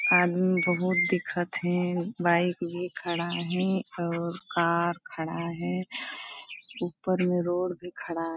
आदमी बहुत दिखत है बाइक भी खड़ा है और कार खड़ा है ऊपर में रोड भी खड़ा --